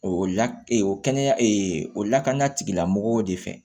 O la ee kɛnɛya o lakana tigilamɔgɔw de fɛ